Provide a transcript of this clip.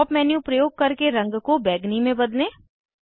pop up menu प्रयोग करके रंग को बैंगनी में बदलें